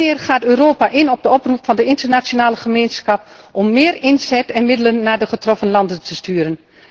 Wanneer gaat Europa in op de oproep van de internationale gemeenschap om meer inzet en middelen naar de getroffen landen te sturen?